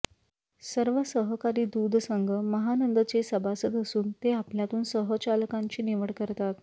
सर्व सहकारी दूध संघ महानंदचे सभासद असून ते आपल्यातून संचालकांची निवड करतात